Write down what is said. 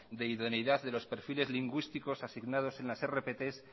de idoneidad de los perfiles lingüísticos asignados en las rpt